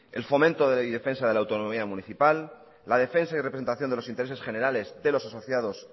el fomento y defensa de la autonomía municipal la defensa y representación de los intereses generales de los asociados